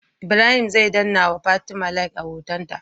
Ibrahim zai danna wa fatim Like a hoton ta